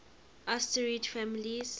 asterid families